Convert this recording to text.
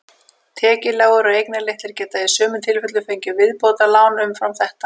Tekjulágir og eignalitlir geta í sumum tilfellum fengið viðbótarlán umfram þetta.